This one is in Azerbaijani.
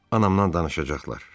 Anamdan danışacaqlar.